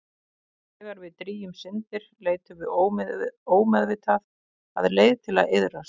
Þegar við drýgjum syndir leitum við ómeðvitað að leið til að iðrast.